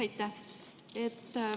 Aitäh!